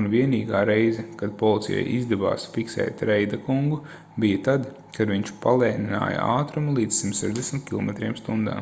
un vienīgā reize kad policijai izdevās fiksēt reida kungu bija tad kad viņš palēnināja ātrumu līdz 160 km/h